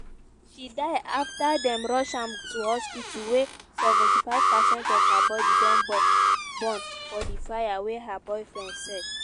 she die afta dem rush am to hospital wia 75 percent of her body don burn for di fire wey her boyfriend set.